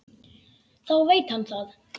Þá veit hann það!